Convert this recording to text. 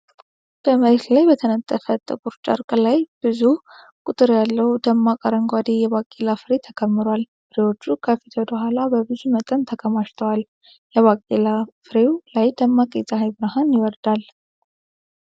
በመሬት ላይ በተነጠፈ ጥቁር ጨርቅ ላይ፣ ብዙ ቁጥር ያለው ደማቅ አረንጓዴ የባቄላ ፍሬ ተከምሯል። ፍሬዎቹ ከፊት ወደ ኋላ በብዙ መጠን ተከማችተዋል። የባቄላ ፍሬው ላይ ደማቅ የፀሐይ ብርሃን ይወርዳል።